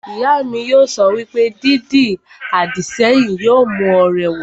Ìyá mi yóò sọ wípé, 'Dídi àdìsẹ́yìn yóò mú ọ rẹwà'